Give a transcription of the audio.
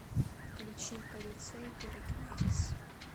включи кадуцей пирокинезис